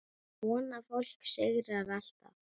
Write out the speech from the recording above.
Svona fólk sigrar alltaf.